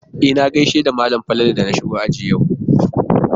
E, na gaishe da malam Falalu da na shigo aji yau.